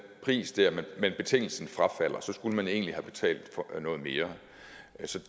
pris dér men betingelsen frafaldes og så skulle man egentlig have betalt noget mere